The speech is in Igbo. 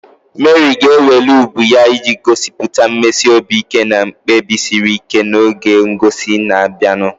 Meri ga-eweli ubu ya iji gosipụta mmesi obi ike na mkpebi siri ike n'oge ngosi na-abịanụ.